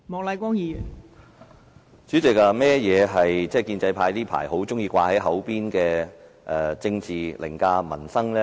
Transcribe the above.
代理主席，甚麼是建制派最近很喜歡掛在嘴邊的政治凌駕民生？